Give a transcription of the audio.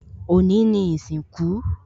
Òní ni ìsìnkú